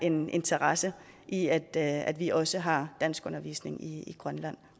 en interesse i at at vi også har danskundervisning i grønland